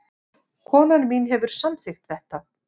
Konan mín hefur samþykkt þetta